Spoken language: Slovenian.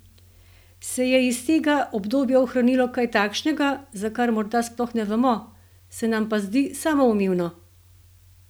Se je iz tega obdobja ohranilo kaj takšnega, za kar morda sploh ne vemo, se nam pa zdi samoumevno?